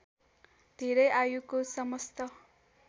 धेरै आयुको समस्त